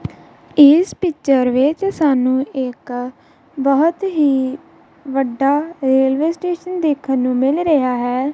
ਇਸ ਪਿੱਚਰ ਵਿੱਚ ਸਾਨੂੰ ਇੱਕ ਬਹੁਤ ਹੀ ਵੱਡਾ ਰੇਲਵੇ ਸਟੇਸ਼ਨ ਦੇਖਣ ਨੂੰ ਮਿਲ ਰਿਹਾ ਹੈ।